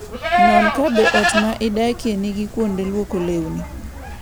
Non kabe ot midakie nigi kuonde lwoko lewni.